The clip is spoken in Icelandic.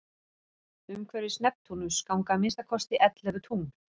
umhverfis neptúnus ganga að minnsta kosti ellefu tungl